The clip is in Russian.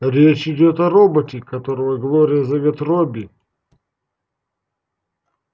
речь идёт о роботе которого глория зовёт робби